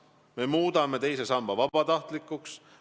Me muudame teise samba vabatahtlikuks.